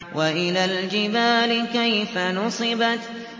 وَإِلَى الْجِبَالِ كَيْفَ نُصِبَتْ